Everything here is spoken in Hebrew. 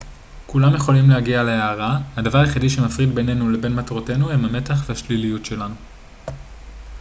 כולם יכולים להגיע להארה הדבר היחיד שמפריד בינניו לבין מטרותינו הם המתח והשליליות שלנו